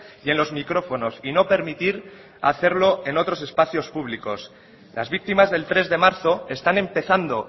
y en los micrófonos y no permitir hacerlo en otros espacios públicos las víctimas del tres de marzo están empezando